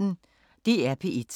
DR P1